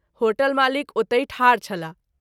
Hotel मालिक ओतहि ठाढ छलाह।